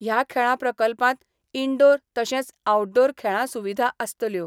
हया खेळां प्रकल्पात इनडोअर तशेंच आऊटडोअर खेळां सुविधा आसतल्यो.